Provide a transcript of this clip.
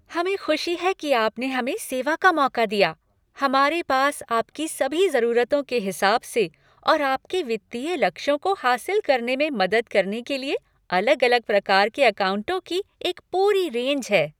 हमें खुशी है कि आपने हमें सेवा का मौका दिया। हमारे पास आपकी सभी ज़रूरतों के हिसाब से और आपके वित्तीय लक्ष्यों को हासिल करने में मदद करने के लिए, अलग अलग प्रकार के अकाउंटों की एक पूरी रेंज है।